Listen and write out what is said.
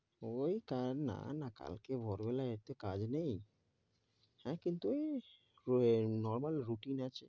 ঐ কাল না না, কালকে ভোরবেলা এত কাজ নেই হ্যাঁ কিন্তু এই স~ এর normal routine আছে।